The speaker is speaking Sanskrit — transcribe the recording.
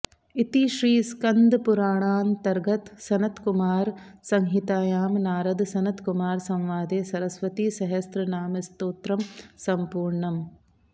इति श्रीस्कान्दपुराणान्तर्गत सनत्कुमार संहितायां नारद सनत्कुमार संवादे सरस्वतीसहस्रनामस्तोत्रम् सम्पूर्णम्